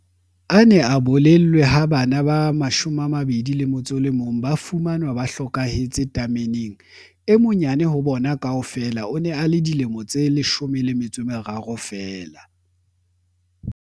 A ne a bolellwe ha bana ba 21 ba fumanwe ba hlokahetse tameneng. E monyane ho bona kaofela o ne a le dilemo di 13 feela.